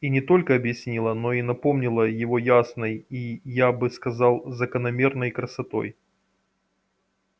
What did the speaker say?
и не только объяснила но и напомнила его ясной и я бы сказал закономерной красотой